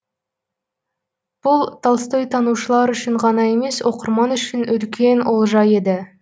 бұл толстойтанушылар үшін ғана емес оқырман үшін үлкен олжа еді